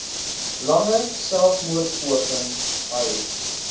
lange selfmoordpoging ai